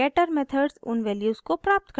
getter methods उन values को प्राप्त करता है